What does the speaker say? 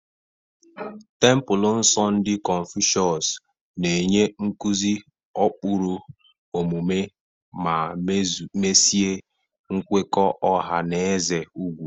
Tempulu nsọ ndị Konfucius na-enye nkuzi ụkpụrụ omume ma mesie nkwekọ ọha na eze ugwu.